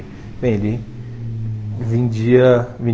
Bem, ele vendia